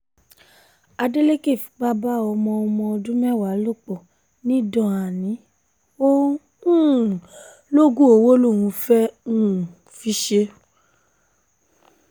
adeleke fipá bá ọmọ ọmọ ọdún mẹ́wàá lò pọ̀ nìdọ́ànì ò um lóògùn owó lòún fẹ́ẹ́ um fi í ṣe